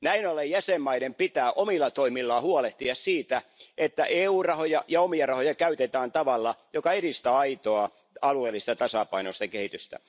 Näin ollen jäsenvaltioiden pitää omilla toimillaan huolehtia siitä, että EU rahoja ja omia rahoja käytetään tavalla, joka edistää aitoa alueellista ja tasapainoista kehitystä.